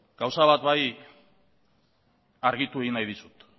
gauza bat bai argitu egin nahi dizut